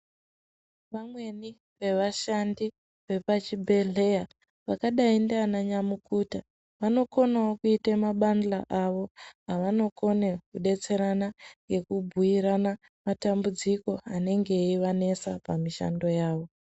Vamweni vevashandi vepachibhehleya vakadai ndiana nyamukuta vanokonawo kuita mabandla awo avanokone kudetserana ngekubhuyirana matambudziko anenge eivanesa pamishando yavo .